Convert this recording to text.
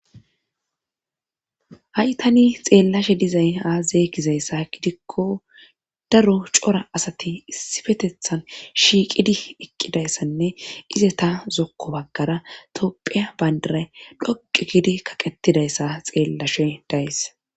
Ha,i tani xeellashe dizay aaaza gizayssa gidikko daro cora asati issifetethan shiiqidi eqqidayssanne ize ta zokko baggara topphiya bayndara dhoqu gidi kaqettidayssa xeellashe dayssa.